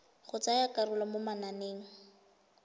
go tsaya karolo mo mananeng